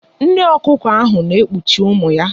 Nne ọkụkọ ahụ na-ekpuchi ụmụ ya.